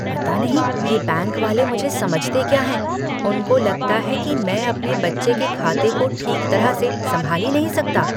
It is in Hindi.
पता नहीं ये बैंक वाले मुझे समझते क्या हैं, उनको लगता कि मैं अपने बच्चे के खाते को ठीक तरह से संभाल ही नहीं सकता।